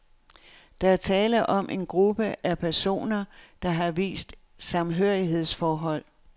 Der er tale om en gruppe af personer, der har et vist samhørighedsforhold.